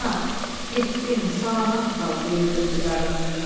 Ana, getdim, salamat qal deyib öpdü qarını.